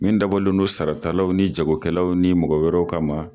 Min dabɔlen don saratalaw ni jagokɛlaw ni mɔgɔ wɛrɛw ka ma.